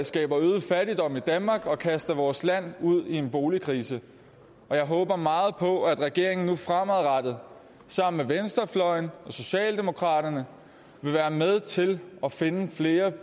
skaber øget fattigdom i danmark og kaster vores land ud i en boligkrise jeg håber meget på at regeringen nu fremadrettet sammen med venstrefløjen og socialdemokraterne vil være med til at finde flere